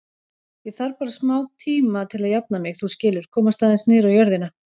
Ég þarf bara smátíma til að jafna mig, þú skilur, komast alveg niður á jörðina.